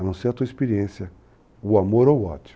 A não ser a tua experiência, o amor ou o ódio.